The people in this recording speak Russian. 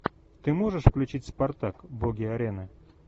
ты можешь включить спартак боги арены